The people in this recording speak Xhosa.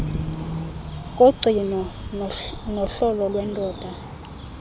kogcino nohlolo lwendoda